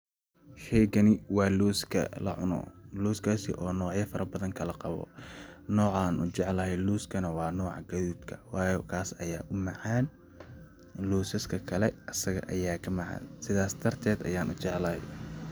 Sheygani waa loska lacuno loskaasi oo nocyo fara badan kala qabo, nocaan ujeclahay looska waa nooca gadudka waayo kaas ayaa u macan losaska asagaa ayaa ka macan sidaas dartet ayaa ujeclahay